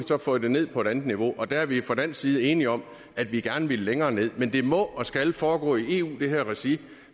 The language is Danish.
så fået det ned på et andet niveau og der er vi fra dansk side enige om at vi gerne vil længere nederst men det her må og skal foregå i eu regi